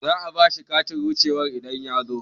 Za'a bashi katin wuce wa idan yazo